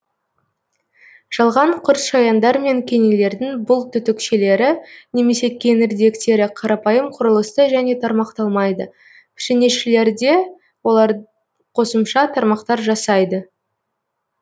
жалған құртшаяндар мене кенелердің бұл түтікшелері немесе кеңірдектері қарапайым құрылысты және тармақталмайды пішенешілерде олар қосымша тармақтар жасайды